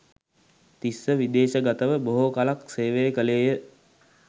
තිස්ස විදේශගතව බොහෝ කලක් සේවය කළේය.